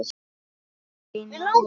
Steina og ég.